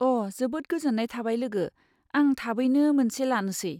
अ, जोबोद गोजोन्नाय थाबाय लोगो, आं थाबैनो मोनसे लानोसै।